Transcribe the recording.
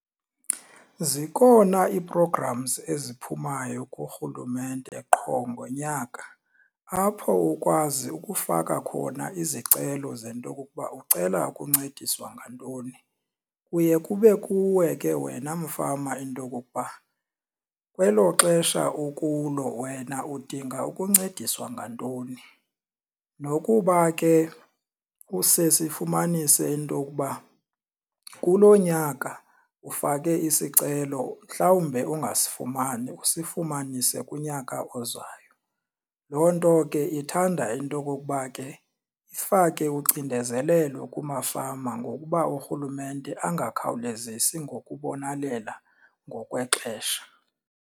Zikhona ii-programs eziphumayo kurhulumente qho ngonyaka apho ukwazi ukufaka khona izicelo zento okokuba ucela ukuncediswa ngantoni. Kuye kube kuwe ke wena mfama into okokuba kwelo xesha ukulo wena udinga ukuncediswa ngantoni. Nokuba ke kusesifumanise into okuba kulo nyaka ufake isicelo mhlawumbe ungasifumani usifumanise kunyaka ozayo. Loo nto ke ithanda into okokuba ke ifake ucinezelelo kumafama ngokuba urhulumente angakhawulezisi ngokubonelela ngokwexesha.